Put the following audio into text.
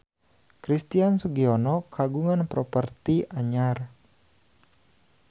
Christian Sugiono kagungan properti anyar